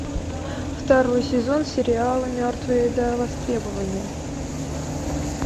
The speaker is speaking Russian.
второй сезон сериала мертвые до востребования